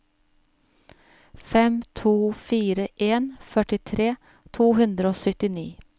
fem to fire en førtitre to hundre og syttini